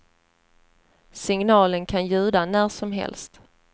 Signalen kan ljuda när som helst.